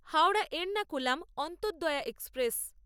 Howrah Ernakulam Antyodaya express